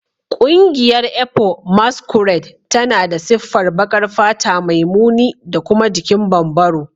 Ƙungiyar ekpo masquerade tana da siffar baƙar fata mai muni da kuma jikin bambaro